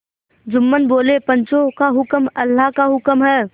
जुम्मन बोलेपंचों का हुक्म अल्लाह का हुक्म है